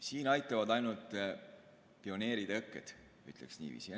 Siin aitavad ainult pioneeritõkked, ütleksin niiviisi.